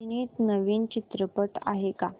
अभिनीत नवीन चित्रपट आहे का